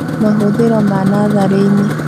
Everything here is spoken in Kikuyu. Mahũthĩro ma natharĩ-inĩ